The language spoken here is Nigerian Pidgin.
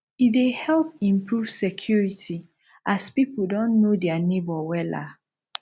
e dey help improve security as pipo don know dia neibor wella